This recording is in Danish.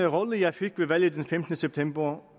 rolle jeg fik ved valget den femtende september